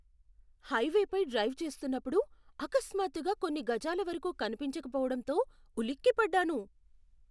హైవేపై drive చేస్తున్నప్పుడు అకస్మాత్తుగా కొన్ని గజాల వరకు కనిపించకపోవడంతో ఉలిక్కిపడ్డాను.